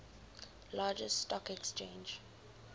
largest stock exchange